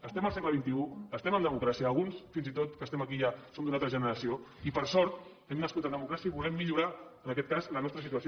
estem al segle estem en democràcia alguns fins i tot que estem aquí ja som d’una altra generació i per sort hem nascut en democràcia i volem millorar en aquest cas la nostra situació